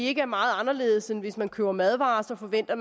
ikke er meget anderledes end hvis man køber madvarer og forventer